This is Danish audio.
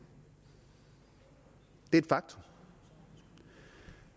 det er et faktum